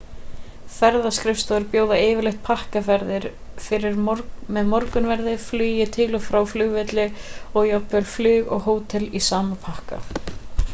ferðaskrifstofur bjóða yfirleitt pakkaferðir með morgunverði flutningi til og frá flugvelli og jafnvel flug og hótel í sama pakka